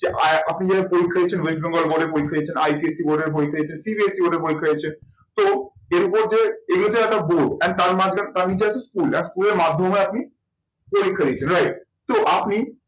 আপনি যেখানে পরীক্ষা দিয়েছেন west bengal board এ পরীক্ষা দিয়েছেন ICSE board এর পরীক্ষা দিয়েছে CBSE board এর পরীক্ষা দিয়েছে তো এরপর যে এগুলো হচ্ছে একটা board and তার মাঝখানে তার নীচে আছে school and school এর মাধ্যমে আর কি পরীক্ষা দিচ্ছেন right তো আপনি